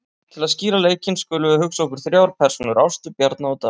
Til að skýra leikinn skulum við hugsa okkur þrjár persónur, Ástu, Bjarna og Davíð.